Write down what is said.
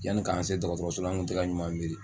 Yanni k'an se dɔgɔtɔrɔso an kun tɛ ka ɲuman miri